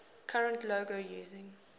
current logo using